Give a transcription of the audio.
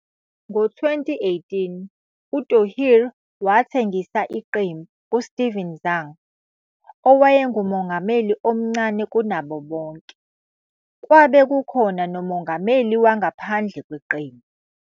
Ngo-2018, uThohir wathengisa iqembu kuSteven Zhang, owakubamba umongameli omncane kunabo bonke, bese kwabe kukhona nomongameli wangaphandle kwesinye isikhathi ngaphandle kweqembu